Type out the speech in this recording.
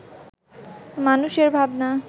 মানুষের ভাবনা